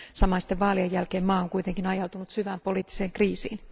Samaisten vaalien jälkeen maa on kuitenkin ajautunut syvään poliittiseen kriisiin.